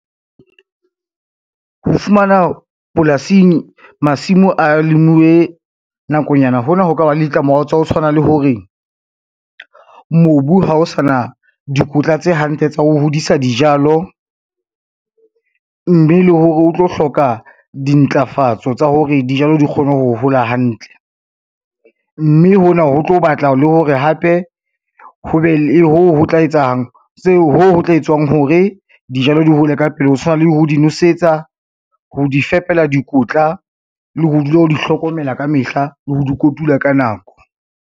Ho fumana polasing masimo a lemuwe nakonyana, hona ho ka ba le ditlamorao tsa ho tshwana le hore, mobu ha o sana dikotla tse hantle tsa ho hodisa dijalo, mme le hore o tlo hloka dintlafatso tsa hore dijalo di kgone ho hola hantle, mme hona ho tlo batla le hore hape ho be le hoo ho tla etswng hore dijalo di hole ka pele, ho tshwana le ho di nosetsa, ho di fepela dikotla le ho dula o di hlokomela ka mehla le ho di kotula ka nako.